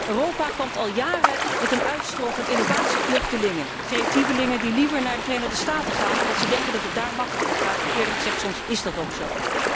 Europa kampt al jaren met een uitstroom van innovatievluchtelingen, creatievelingen die liever naar de Verenigde Staten gaan, omdat ze denken dat het daar gemakkelijker gaat en, eerlijk gezegd, is dat soms ook zo.